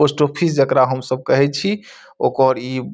post office जेकरा हम सब कहई छी ओकर ई --